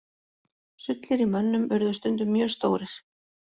Sullir í mönnum urðu stundum mjög stórir.